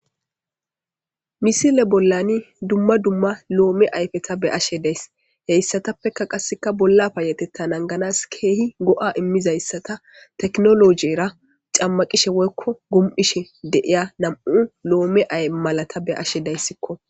Misile bollani dumma dumma loome ayfeta be ashe days heyssatappeka qasseka bolla paayetettan anganas keehi go'a immizayssata teknolojiera cammaqishe woykko gum'ishe deiya nam'u lo'ome ay malata be ashe dayssikko.